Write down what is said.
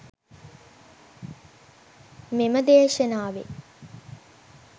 මෙම දේශනාවෙන්